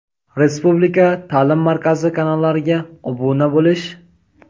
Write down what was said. Respublika ta’lim markazi kanallariga obuna bo‘lish:.